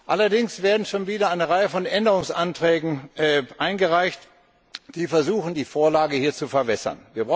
Allerdings wird schon wieder eine Reihe von Änderungsanträgen eingereicht, die versuchen, die Vorlage hier zu verwässern.